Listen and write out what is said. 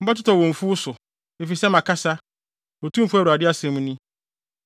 Mobɛtotɔ wɔ mfuw so, efisɛ makasa, Otumfo Awurade asɛm ni.